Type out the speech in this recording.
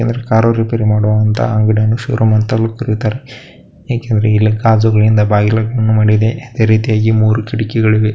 Car repair ಮಾಡುವಂತ ಅಂಗಡಿಯನ್ನ showroom ಅಂತಲೂ ಕರೀತಾರೆ ಏಕೆ ಎಂದರೆ ಇಲ್ಲಿ ಕಾಜುಗಳಿಂದ ಬಾಗಿಲುಗಳನ್ನು ಮಾಡಿದೆ ಅದೇ ರೀತಿಯಾಗಿ ಮೂರು ಕಿಟಕಿಗಳು ಇವೆ.